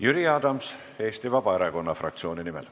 Jüri Adams Eesti Vabaerakonna fraktsiooni nimel.